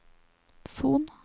Son